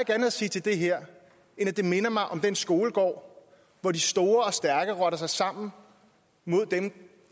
andet at sige til det her end at det minder mig om den skolegård hvor de store og stærke rotter sig sammen mod dem